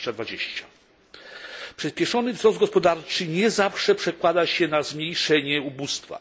2020. Przyspieszony wzrost gospodarczy nie zawsze przekłada się na zmniejszenie ubóstwa.